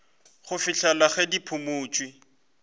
go fihlela ge di phumotšwe